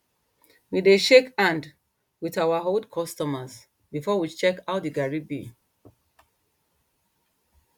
we dey shake hand with our old customers before we check how the garri be